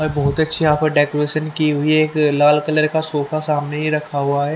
बहत अच्छे यहाँ पे डेकोरेशन की हुई है एक लाल कलर का सोफा सामने ही रक्खा हुआ है।